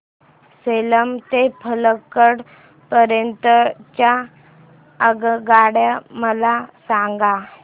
सेलम ते पल्लकड पर्यंत च्या आगगाड्या मला सांगा